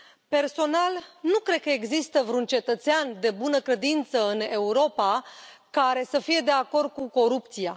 Personal, nu cred că există vreun cetățean de bună credință în Europa care să fie de acord cu corupția.